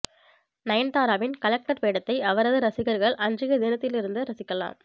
நயன்தாராவின் collector வேடத்தை அவரது ரசிகர்கள் அன்றைய தினத்தில் இருந்து ரசிக்கலாம்